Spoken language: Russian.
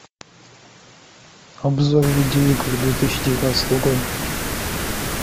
обзор видео игр две тысячи девятнадцатого года